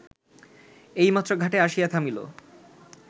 এইমাত্র ঘাটে আসিয়া থামিল